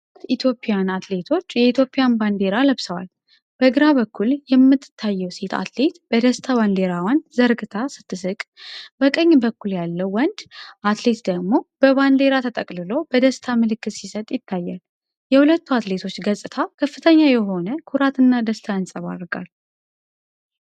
ሁለት ኢትዮጵያውያን አትሌቶች የኢትዮጵያን ባንዲራ ለብሰዋል። በግራ በኩል የምትታየው ሴት አትሌት በደስታ ባንዲራውን ዘርግታ ስትስቅ፣ በቀኝ በኩል ያለው ወንድ አትሌት ደግሞ በባንዲራ ተጠቅልሎ በደስታ ምልክት ሲሰጥ ይታያል። የሁለቱ አትሌቶች ገፅታ ከፍተኛ የሆነ ኩራትና ደስታ ያንጸባርቃል።